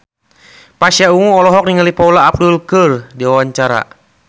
Pasha Ungu olohok ningali Paula Abdul keur diwawancara